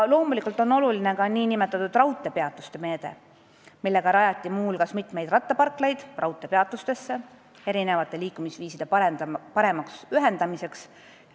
Loomulikult on oluline ka nn raudteepeatuste meede, mille abil on muu hulgas raudteepeatustesse rajatud mitmeid rattaparklaid, et erinevaid liikumisviise paremini ühendada.